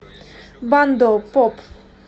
бандо поп